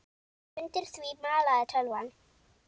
Undir því malaði tölvan.